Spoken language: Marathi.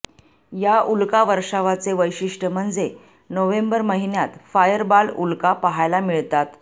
या उल्कावर्षांवाचे वैशिष्ट्य म्हणजे नोव्हेंबर महिन्यात फायरबाल उल्का पाहायला मिळतात